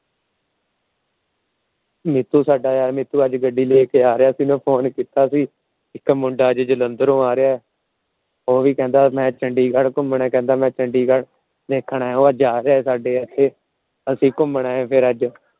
ਨੀਤੂ ਸਾਡਾ ਅੱਜ ਨੀਤੂ ਗੱਡੀ ਲੈਕੇ ਆ ਰਿਹਾ ਅੱਜ Phone ਕੀਤਾ ਸੀ। ਇੱਕ ਮੁੰਡਾ ਅੱਜ ਜਲੰਧਰੋਂ ਆ ਰਿਹਾ। ਉਹ ਵੀ ਕਹਿੰਦਾ ਮੈ ਚੰਡੀਗੜ੍ਹ ਘੁੰਮਣਾ ਕਹਿੰਦਾ ਮੈ ਚੰਡੀਗੜ੍ਹ ਦੇਖਣਾ। ਉਹ ਅੱਜ ਆ ਰਿਹਾ ਸਾਡੇ ਇੱਥੇ। ਅਸੀਂ ਘੁੰਮਣਾ ਫਿਰ ਅੱਜ